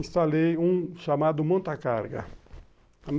Instalei um chamado monta-carga.